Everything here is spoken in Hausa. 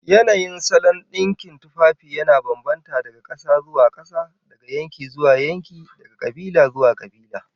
Yanayin salon dinkin tufafi yana bambanta daga kasa zuwa kasa, daga yanki zuwa yanki, daga kabila zuwa kabila